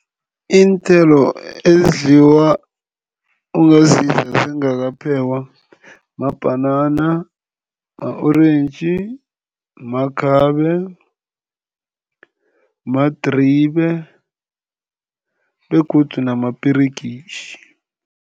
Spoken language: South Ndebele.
Iinthelo ezidliwa, ongazidla zingakaphekwa mabhanana, ma-orentji, makhabe, madribe begodu namaperegitjhi.